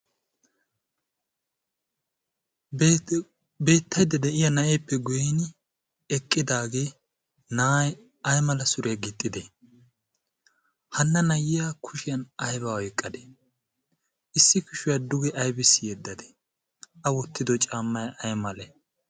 beettiidi de'iya na'eeppe goin eqqidaagee na'ay ai mala suriya gixxide hanna nayyiya kushiyan ayba oyqqadee issi kushuwaa duge aibis yeddadee a wottido caammai ay male?